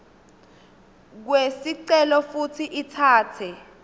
kwesicelo futsi itsatse